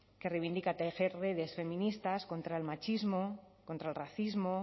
que reivindica tejer redes feministas contra el machismo contra el racismo